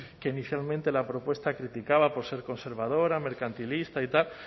que inicialmente la propuesta criticaba por ser conservadora mercantilista y tal